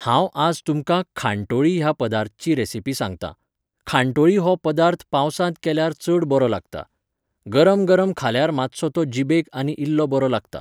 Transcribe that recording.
हांव आज तुमकां खानटोळी ह्या पदार्थची रॅसिपी सांगतां. खानटोळी हो पदार्थ पावसांत केल्यार चड बरो लागता. गरम गरम खाल्यार मात्सो तो जीबेक आनी इल्लो बरो लागता